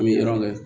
An bɛ